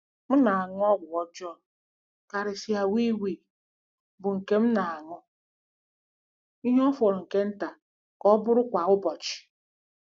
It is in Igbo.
M na-aṅụ ọgwụ ọjọọ, karịsịa wii wii, bụ́ nke m na-aṅụ ihe fọrọ nke nta ka ọ bụrụ kwa ụbọchị.